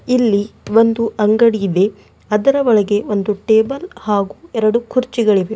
ಇಲ್ಲಿ ಒಂದು ಅಂಗಡಿಯಿದೆ ಅದರೊಳಗೆ ಒಂದು ಟೇಬಲ್ ಹಾಗೂ ಎರಡು ಕುರ್ಚಿಗಳಿವೆ.